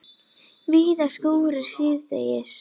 Víða skúrir síðdegis